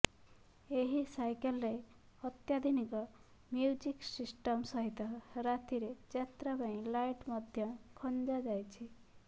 ଏହି ସାଇକେଲରେ ଅତ୍ୟାଧୁନିକ ମୁ୍ୟଜିକ ସିଷ୍ଟମ ସହିତ ରାତିରେ ଯାତ୍ରା ପାଇଁ ଲାଇଟ ମଧ୍ୟ ଖଂଜା ଯାଇଛି